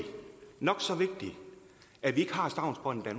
nok så vigtigt at vi ikke har stavnsbåndet i